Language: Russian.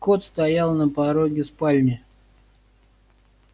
кот стоял на пороге спальни